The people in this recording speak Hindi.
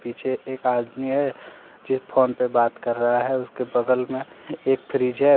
पीछे एक आदमी है जो फोन पे बात कर रहा है उसके बगल में एक फ्रीज है ।